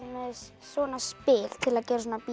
svona spil til að gera svona b